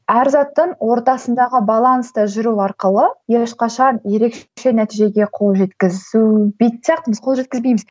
әр заттан ортасындағы баланста жүру арқылы ешқашан ерекше нәтижеге қол жеткізу қол жеткізбейміз